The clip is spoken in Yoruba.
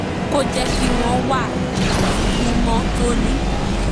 kó jẹ́ kí wọ́n wà ní mímọ́ tóní